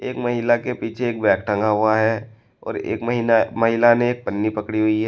एक महिला के पीछे एक बैग टंगा हुआ है और एक महिला ने एक पन्नी पकड़ी हुई है।